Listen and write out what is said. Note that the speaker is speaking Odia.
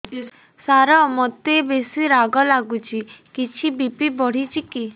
ସାର ମୋତେ ବେସି ରାଗ ଲାଗୁଚି କିଛି ବି.ପି ବଢ଼ିଚି କି